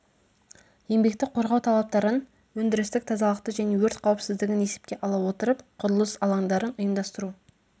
еңбекті қорғау талаптарын өндірістік тазалықты және өрт қауіпсіздігін есепке ала отырып құрылыс алаңдарын ұйымдастыру